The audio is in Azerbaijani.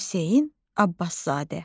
Hüseyn Abbaszadə.